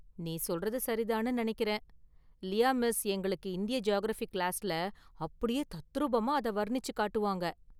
நீ சொல்றது சரிதான்னு நினைக்கறேன்! லியா மிஸ் எங்களுக்கு இந்திய​ ஜியாகிரஃபி கிளாஸ்ல அப்படியே தத்ரூபமாக அதை வர்ணிச்சு காட்டுவாங்க.